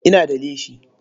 Ina da leshi.